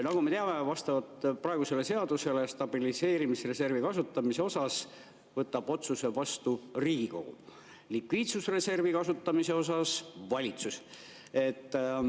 Nagu me teame, vastavalt praegusele seadusele võtab stabiliseerimisreservi kasutamise suhtes otsuse vastu Riigikogu, likviidsusreservi kasutamise suhtes valitsus.